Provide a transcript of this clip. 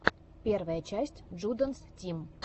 первая часть джудэнс тим